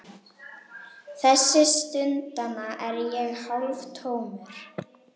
Þessa stundina er ég hálftómur.